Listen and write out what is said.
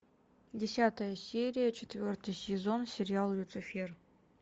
десятая серия четвертый сезон сериал люцифер